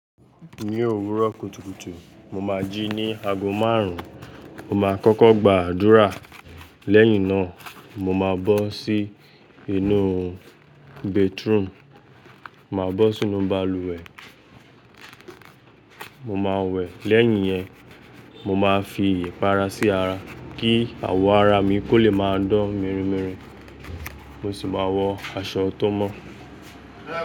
Ní òwúrọ̀ kùtùkùtù, mo máa jí ní aago márùn-ún. Mo máa kọ́kọ́ gbàdúrà. Lẹ́yìn náà, mo máa bọ́ sí inú bedroom, màá bọ́ sínú balùwẹ̀, mo máa wẹ̀. Lẹ́yìn yẹn, mo máa fi ìpara sí ara kí àwọ̀ ara mi kó le máa dán mìírìmíìrí. Mo sì máa wọ aṣọ tó mọ́.